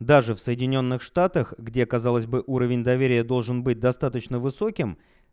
даже в соединённых штатах где казалось бы уровень доверия должен быть достаточно высоким